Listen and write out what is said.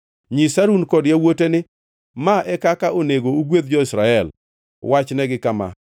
“Nyis Harun kod yawuote ni, ‘Ma e kaka onego ugwedh jo-Israel. Wachnegi kama: